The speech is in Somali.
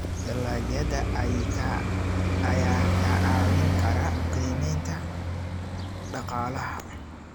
dalagyada ayaa kaa caawin kara qiimeynta Dhaqaalaha.